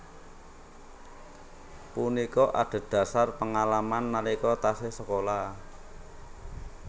Punika adhedhasar pengalaman nalika taksih sekolah